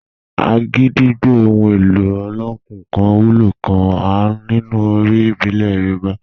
Agidigbo, ohun èlò olókùn kan wúlò gan-an nínú orin ìbílẹ̀ Yorùbá.